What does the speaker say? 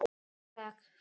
Og takk fyrir.